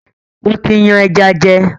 Mo tí yan ẹja jẹ